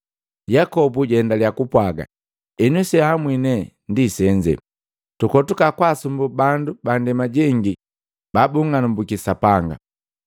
Yakobo jaendaliya kupwaaga, “Henu, senhamwi ne senze, tukoto kwaasumbuu bandu bandema jengi babung'anambuki Sapanga,